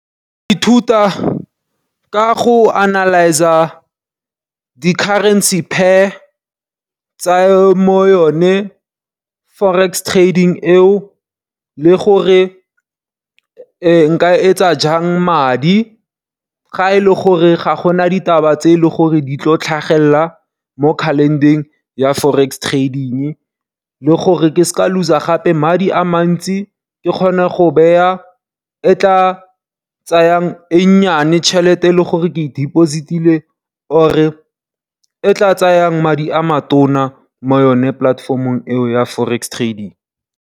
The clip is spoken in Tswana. Ke ka ithuta ka go analyse-a di currency pair tsa mo yone Forex trading eo le gore nka etsa jang madi ga e le gore ga gona ditaba tse e le gore di tlo tlhagelela mo calender-eng ya Forex trading. Le gore ke se ke ka lose-a gape madi a mantsi, ke kgone go beya e tla tsayang e nnyane tšhelete e leng gore ke e dipositile or e tla tsayang madi a matona mo yone polatefomong eo ya Forex trading.